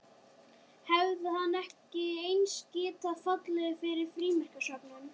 Hefði hann ekki eins getað fallið fyrir frímerkjasöfnun?